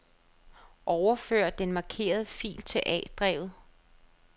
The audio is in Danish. Overfør den markerede fil til A-drevet.